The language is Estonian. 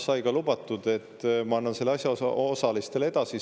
Siis sai lubatud, et ma annan selle asjaosalistele edasi.